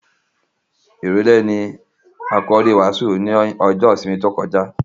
Ìrèlè ni àkòrí ìwàásù ní ọjọ́ ìsinmi tí ó kọjá.